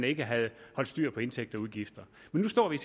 ikke havde haft styr på indtægter og udgifter men nu står vi